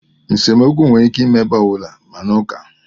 Nsemokwu nwere ike ime ebe ọ bụla, ma n'uka.